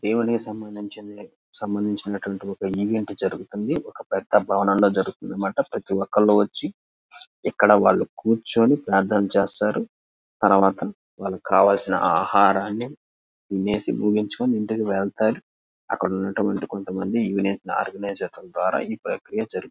దేవునికి సంబంధించినది ఈవెంట్ జరుగుతుంది. ఒక పెద్ద పాట జరుగుతుంది. ప్రతి ఒక్కరు వచ్చి ఎక్కడ కూర్చొని ప్రార్థన చేస్తారు తర్వాత వాళ్లకి కావలసిన ఆహారాన్ని తినేసి ముగించుకోని వెళ్తారు. అక్కడ ఉన్నటువంటి కొంతమంది ఈవెంట్ ఆర్గనైజేషన్ ద్వారా జరుగుతుంది.